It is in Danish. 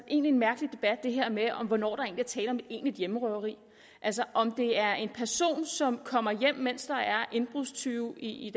en mærkelig debat det her med hvornår der er tale om et egentligt hjemmerøveri altså om det er en person som kommer hjem mens der er indbrudstyve i